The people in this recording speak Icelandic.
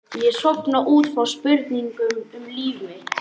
Ég sofna út frá spurningum um líf mitt.